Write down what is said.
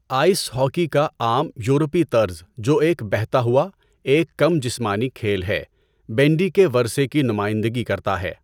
Ice hockey کا عام یورپی طرز جو ایک بہتا ہوا، ایک کم جسمانی کھیل ہے، بینڈی کے ورثے کی نمائندگی کرتا ہے۔